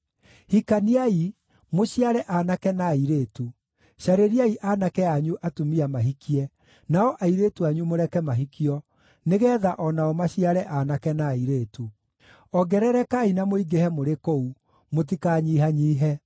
Hikaniai, mũciare aanake na airĩtu; carĩriai aanake anyu atumia mahikie, nao airĩtu anyu mũreke mahikio, nĩgeetha o nao maciare aanake na airĩtu. Ongererekai na mũingĩhe mũrĩ kũu; mũtikanyihanyiihe.